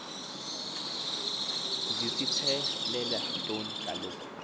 zisithelela ntoni kaloku